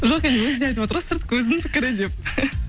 жоқ енді өзі де айтып отыр ғой сырт көздің пікірі деп